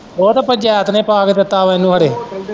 ਉਹ ਤੇ ਪੰਚਾਇਤ ਪਾ ਕੇ ਦਿੱਤਾ ਉਹਨੂੰ ਖਰੋ।